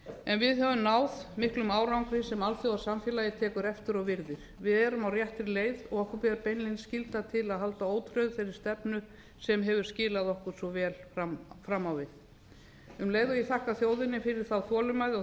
en við höfum náð miklum árangri sem alþjóðasamfélagið tekur eftir og virðir við erum á réttri leið og okkur ber beinlínis skylda til að halda ótrauð þeirri stefnu sem hefur skilað okkur svo vel fram á við um leið og ég þakka þjóðinni fyrir þá þolinmæði og